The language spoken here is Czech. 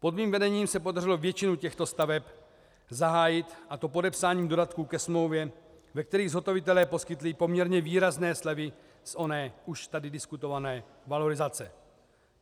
Pod mým vedením se podařilo většinu těchto staveb zahájit, a to podepsáním dodatků ke smlouvě, ve kterých zhotovitelé poskytli poměrně výrazné slevy z oné už tady diskutované valorizace.